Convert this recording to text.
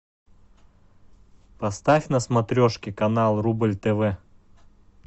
поставь на смотрешке канал рубль тв